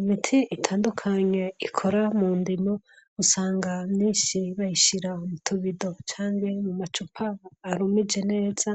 imiti itandukanye ikora mu ndimo usanga myinshi bayishira mutubido canke mu macupa arumije neza